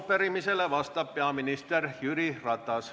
Arupärimisele vastab peaminister Jüri Ratas.